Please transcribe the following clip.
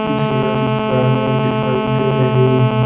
झील दिखाने दिखाई दे रही है।